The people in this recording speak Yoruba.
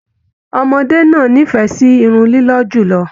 Ọmọdé náà n'ifẹ sí Irun lilọ jùlọ.